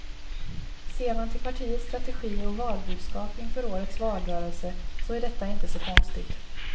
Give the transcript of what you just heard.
Ser man till partiets strategi och valbudskap inför årets valrörelse så är detta inte så konstigt.